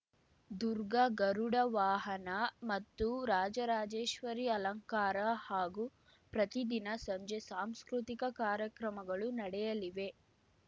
ದುರ್ಗ ಗರುಡ ವಾಹನ ಮತ್ತು ರಾಜರಾಜೇಶ್ವರಿ ಅಲಂಕಾರ ಹಾಗೂ ಪ್ರತಿದಿನ ಸಂಜೆ ಸಾಂಸ್ಕೃತಿಕ ಕಾರ್ಯಕ್ರಮಗಳು ನಡೆಯಲಿವೆ